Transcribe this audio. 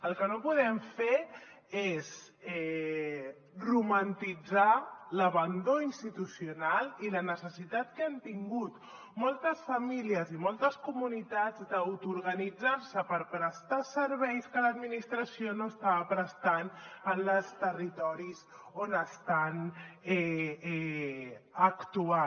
el que no podem fer és romantitzar l’abandó institucional i la necessitat que han tingut moltes famílies i moltes comunitats d’autoorganitzar se per prestar serveis que l’administració no estava prestant en els territoris on estan actuant